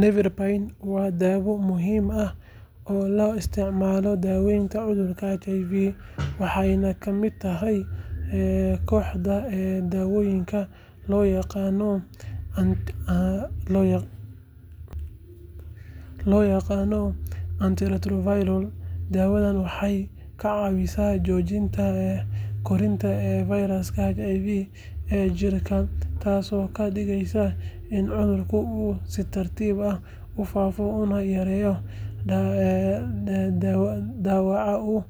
Nevirapine waa daawo muhiim ah oo loo isticmaalo daaweynta cudurka HIV, waxayna ka mid tahay kooxda daawooyinka loo yaqaan 'antiretroviral'. Daawadani waxay ka caawisaa joojinta koritaanka fayraska HIV ee jidhka, taasoo ka dhigaysa in cudurka uu si tartiib ah u faafo una yareeyo dhaawaca uu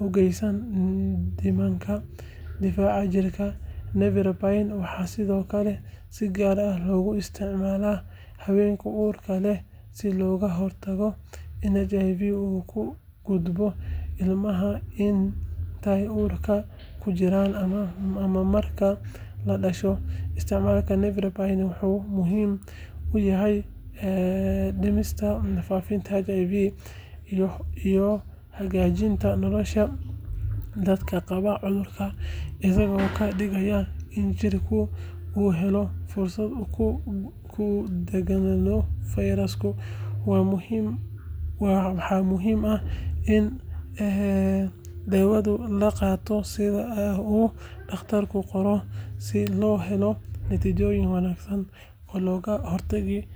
u geysto nidaamka difaaca jirka. Nevirapine waxaa sidoo kale si gaar ah loogu isticmaalaa haweenka uurka leh si looga hortago in HIV uu u gudbo ilmaha inta uu uurka ku jiro ama marka la dhasho. Isticmaalka nevirapine wuxuu muhiim u yahay dhimista faafitaanka HIV iyo hagaajinta nolosha dadka qaba cudurka, isagoo ka dhigaya in jidhku uu helo fursad uu ku dagaallamo fayraska. Waxaa muhiim ah in daawadan la qaato sida uu dhakhtarku qoro si loo helo natiijooyin wanaagsan.